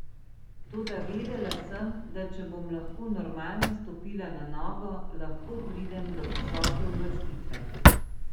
Toda vedela sem, da če bom lahko normalno stopila na nogo, lahko pridem do visoke uvrstitve.